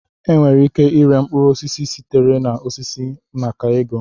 Enwere ike ịre mkpụrụ osisi sitere na osisi maka ego